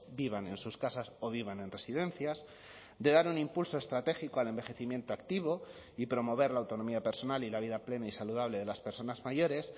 vivan en sus casas o vivan en residencias de dar un impulso estratégico al envejecimiento activo y promover la autonomía personal y la vida plena y saludable de las personas mayores